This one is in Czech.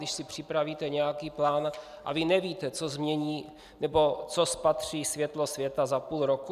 Když si připravíte nějaký plán a vy nevíte, co změní, nebo co spatří světlo světa za půl roku?